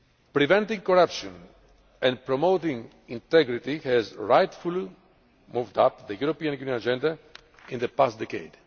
Preventing corruption and promoting integrity has rightfully moved up the European agenda in the past decade.